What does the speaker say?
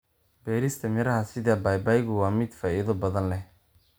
Beerista miraha sida babaygu waa mid faa'iido badan leh.